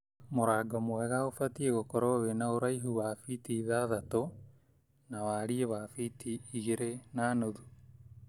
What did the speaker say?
Mũrango mwega ubatiĩ gũkorwo wĩna ũraihu wa biti ithatatũ na wariĩ wa biti igĩrĩ na nuthu.